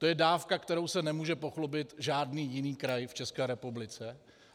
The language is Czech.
To je dávka, kterou se nemůže pochlubit žádný jiný kraj v České republice.